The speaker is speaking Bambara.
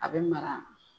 A bɛ mara